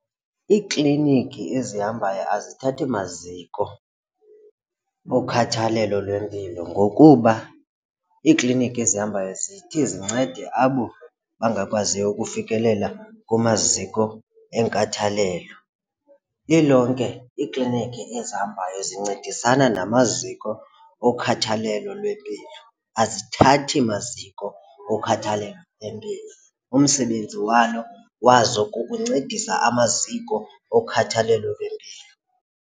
Iikliniki ezihambayo azithathi maziko okhathalelo lwempilo ngokuba iikliniki ezihambayo zithi zincede abo bangakwaziyo ukufikelela kumaziko enkathalelo. Lilonke iiklinikhi ezihambayo zincedisanae namaziko okhathalelo lwempilo, azithathi maziko okhathalelo lwempilo. Umsebenzi walo wazo kukuncedisa amaziko okhathalelo lwempilo.